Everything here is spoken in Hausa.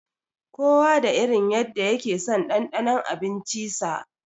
Kowa da irin yanda yakeson ɗanɗanon abinci sa.